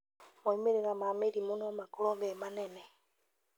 Moimĩrira ma mĩrimũ no makorwo me manene